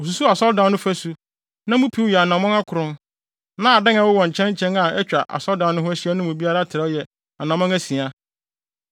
Osusuw asɔredan no fasu; na mu piw yɛ anammɔn akron, na adan a ɛwowɔ nkyɛn nkyɛn a atwa asɔredan no ho ahyia no mu biara trɛw yɛ anammɔn asia.